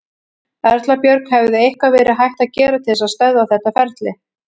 Erla Björg: Hefði eitthvað verið hægt að gera til þess að stöðva þetta ferli?